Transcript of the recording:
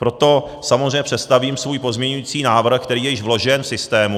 Proto samozřejmě představím svůj pozměňovací návrh, který je již vložen v systému.